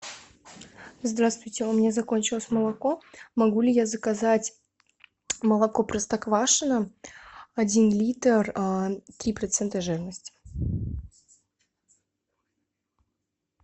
здравствуйте у меня закончилось молоко могу ли я заказать молоко простоквашино один литр три процента жирности